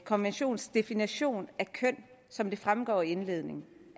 konventionens definition af køn som den fremgår af indledningen